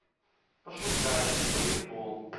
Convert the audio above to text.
пошукай волейбол